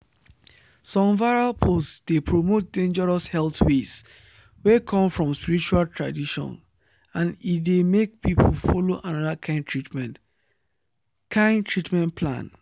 some viral posts dey promote dangerous health ways wey come from spiritual tradition and e dey make people follow another kind treatment kind treatment plan.